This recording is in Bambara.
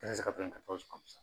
Ne se ka fɛn